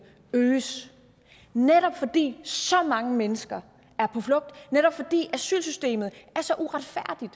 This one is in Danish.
øges netop fordi så mange mennesker er på flugt netop fordi asylsystemet er så uretfærdigt